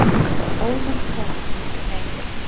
Ónefnd kona: Nei.